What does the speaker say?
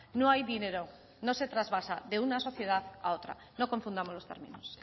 no hay dinero no se trasvasa de una sociedad a otra no confundamos los términos